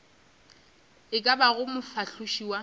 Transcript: e ka bago mofahloši wa